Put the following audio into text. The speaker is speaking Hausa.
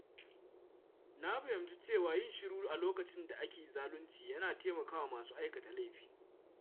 Na fahimci cewa yin shiru a lokacin da ake zalunci yana taimakawa masu aikata laifi.